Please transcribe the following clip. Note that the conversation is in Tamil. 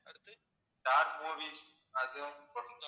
ஸ்டார் மூவீஸ் அதுவும் போட்டுருங்க